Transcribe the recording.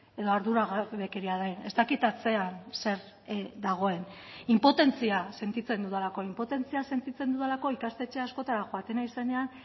edo arduragabekeria den ez dakit atzean zer dagoen inpotentzia sentitzen dudalako inpotentzia sentitzen dudalako ikastetxe askotara joaten naizenean